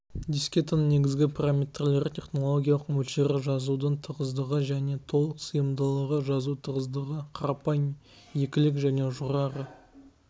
дискетаның негізгі параметрлері технологиялық мөлшері жазудың тығыздығы және толық сыйымдылығы жазу тығыздығы қарапайым екілік және жоғары